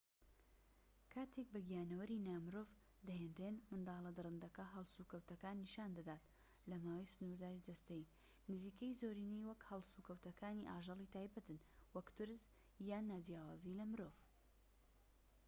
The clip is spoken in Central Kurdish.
کاتێک بە گیانەوەری نا مرۆڤ دەهێنرێن، منداڵە دڕندەکە هەڵس و کەوتەکان نیشاندەدات لە ماوەی سنوورداری جەستەیی نزیکەی زۆرینەی وەک هەڵس و کەوتەکانی ئاژەڵی تایبەتن، وەک ترس یان ناجیاوازی لە مرۆڤ